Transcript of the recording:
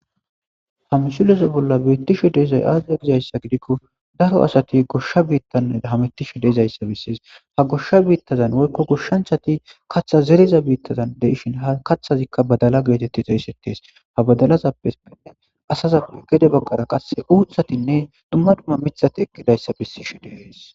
ha misuleze bolla beettishu deezay aaziza gizayssa gidikko daro asati goshsha biittanna hametishu deeizayssa bisses ha goshsha biittazan woykko goshshanchati katha zeriza biittazan deishin ha kaththazikka badala geetetti xeessettes ha badalazappepenne asazappe gede baggara qasse uuthatinne dumma dumma mithati ekkidayssa bissishi deees